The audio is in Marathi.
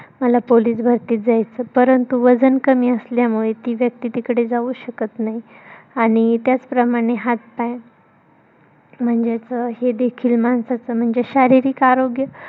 मला police भरतीत जायचंय परंतु वजन कमी असल्यामुळे ती व्यक्ती तिकडे जाऊ शकत नाही. आणि त्याच प्रमाणे हात पाय म्हणजेच हे देखील माणसाचं म्हणजे शारीरिक आरोग्य